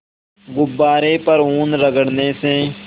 गुब्बारे पर ऊन रगड़ने से